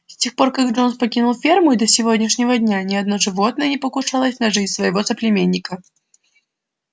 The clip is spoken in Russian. с тех пор как джонс покинул ферму и до сегодняшнего дня ни одно животное не покушалось на жизнь своего соплеменника